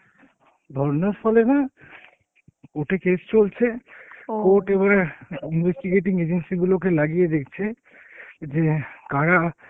ধর্নার ফলে না, court এ case চলছে court এবারে investigating agency গুলোকে লাগিয়ে দেখছে যে কারা